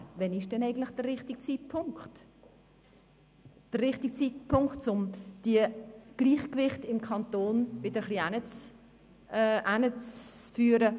» Wann aber ist denn eigentlich der richtige Zeitpunkt, um die Gleichgewichte im Kanton wieder etwas herzustellen?